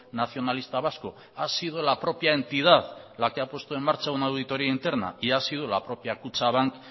nacionalista vasco ha sido la propia entidad la que ha puesto en marcha una auditoría interna y ha sido la propia kutxabank